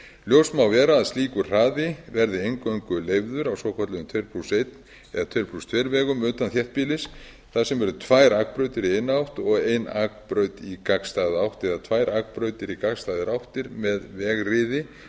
ljóst má vera að slíkur hraði verði eingöngu leyfður á svokölluðum tuttugu og eitt eða tuttugu og tvö vegum utan þéttbýlis þar sem eru tvær akbrautir í eina átt og ein akbraut í gagnstæða átt eða tvær akbrautir í gagnstæðar áttir með vegriði